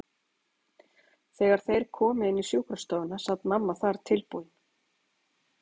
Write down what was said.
Þegar þeir komu inní sjúkrastofuna sat mamma þar tilbúin.